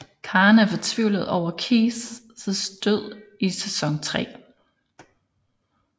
Karen er fortvivlet over Keiths død i sæson 3